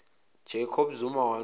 jacob zuma wanxusa